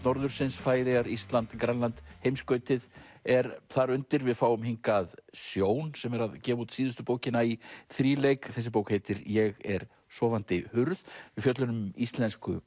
norðursins Færeyjar Ísland Grænland heimskautið er þar undir við fáum hingað Sjón sem er að gefa út síðustu bókina í þríleik þessi bók heitir ég er sofandi hurð við fjöllum um Íslensku